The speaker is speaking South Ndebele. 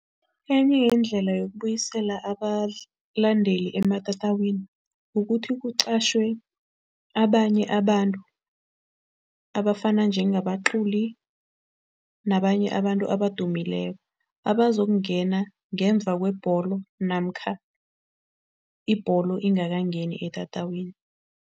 Enye yeendlela yokubuyisela abalandeli ematatawini, kukuthi kuqatjhiwe abanye abantu abafana njengabaculi nabanye abantu abadumileko, abazokungena ngemva kwebholo namkha ibholo ingakangeni etatawini.